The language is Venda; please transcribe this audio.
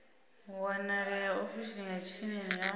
wanalea ofisini ya tsini ya